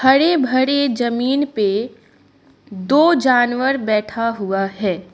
हरे भरे जमीन पे दो जानवर बैठा हुआ है।